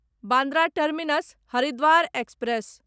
Bandra terminus Haridwar express